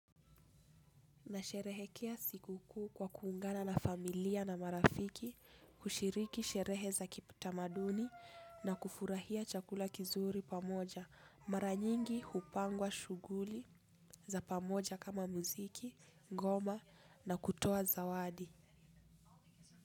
Na sherehekea sikukuu kwa kuungana na familia na marafiki, kushiriki sherehe za kitamaduni na kufurahia chakula kizuri pamoja. Mara nyingi hupangwa shuguli za pamoja kama muziki, ngoma na kutoa zawadi.